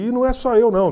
E não é só eu, não.